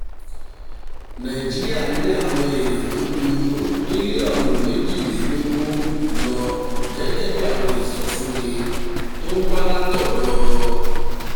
nàìjíríà ní àwọn èèyàn tó ju mílíọ̀nù méjìlélógún lọ gẹ́gẹ́ bí àwọn ìsọfúnni tó wá látọ̀dọ̀